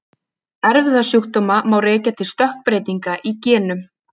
Erfðasjúkdóma má rekja til stökkbreytinga í genum.